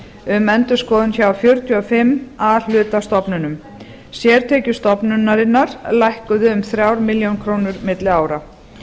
um endurskoðun hjá fjörutíu og fimm a hluta stofnunum sértekjur stofnunarinnar lækkuðu um fjórar milljónir króna aðili ára